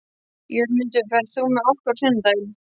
Jörmundur, ferð þú með okkur á sunnudaginn?